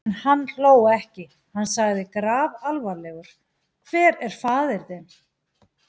En hann hló ekki: Hann sagði grafalvarlegur: Hver er faðir þinn?